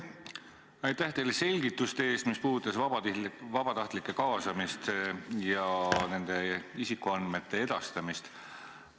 Aitäh teile selgituste eest, mis puudutasid vabatahtlike kaasamist ja nende isikuandmete edastamist.